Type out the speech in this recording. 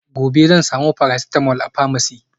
gobe zan samu paracetamol a pharmacy